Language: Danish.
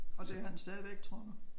Og det er han stadigvæk tror du?